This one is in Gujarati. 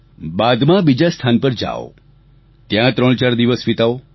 બાદમાં બીજા સ્થાન પર જાઓ ત્યાં ત્રણ દિવસ ચાર દિવસ વિતાવો